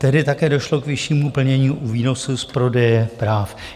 Tedy také došlo k vyššímu plnění u výnosu z prodeje práv.